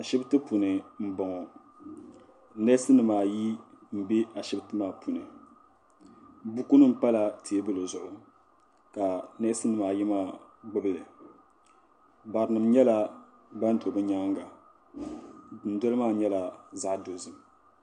Ashipti puuni n boŋɔ. Neesinim ayi n be ashipti maa puuni. Bukunim pala tiebuli zuɣu ka niesinimaa ayi maa gbubili. Barinim nyela ban do bɛ nyaaŋa, dundoli maa nyela zaɣa dozim